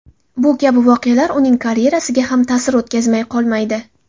Bu kabi voqealar uning karyerasiga ham ta’sir o‘tkazmay qolmaydi.